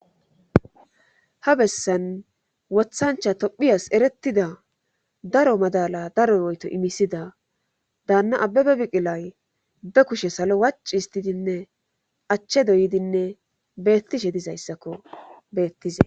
Ha bessan wothancha tophiyas eretida daro madala daroy oyto imisida daanna ababe biqilay be kushe salo wac histidinne achche doyidinne beettishe dizayssakko beettize.